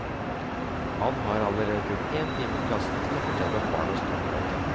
Han har allerede brukt én time i klassen til å fortelle om barnas toppmøte.